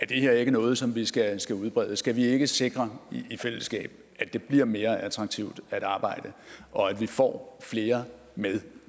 det her er noget som vi skal skal udbrede skal vi ikke sikre i fællesskab at det bliver mere attraktivt at arbejde og at vi får flere med